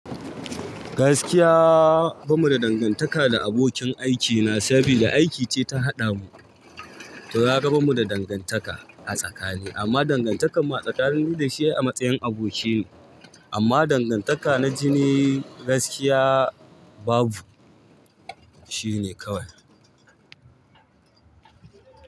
Gaskiya ba mu da dangantaka da abokin aikina saboda aiki ce ta haɗa mu. To, kaga ba mu da dangantaka a tsakani amma dangantakan mu a tsakani ni da shi ai a matsayin aboki ne amma dangantaka na jini gaskiya babu shine kawai.